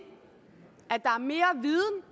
at der er mere viden